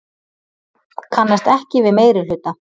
Kannast ekki við meirihluta